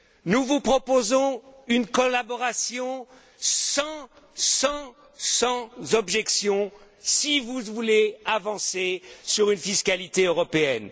Nous vous proposons une collaboration sans objections si vous voulez avancer sur une fiscalité européenne.